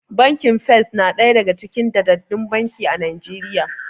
Bankin First na daga cikin daddaɗɗun banki a Najeriya.